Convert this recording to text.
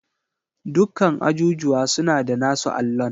Dukkan ajujuwa suna da nasu allon.